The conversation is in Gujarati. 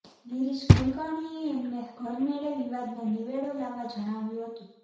ગિરીશ કુલકર્ણીએ એમને ઘરમેળે વિવાદનો નીવેડો લાવવા જણાવ્યું હતું